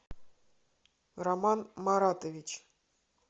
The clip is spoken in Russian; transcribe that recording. роман маратович